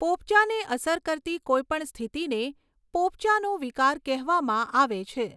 પોપચાને અસર કરતી કોઈપણ સ્થિતિને પોપચાંનો વિકાર કહેવામાં આવે છે.